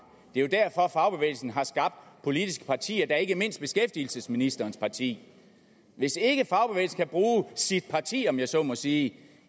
det er jo derfor at fagbevægelsen har skabt politiske partier og ikke mindst beskæftigelsesministerens parti hvis ikke fagbevægelsen kan bruge sit parti om jeg så må sige